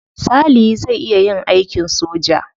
Salihi zai iya yin aikin soja.